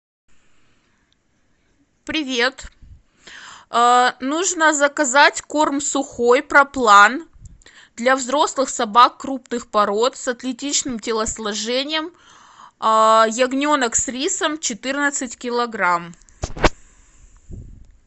привет нужно заказать корм сухой проплан для взрослых собак крупных пород с атлетичным телосложением ягненок с рисом четырнадцать килограмм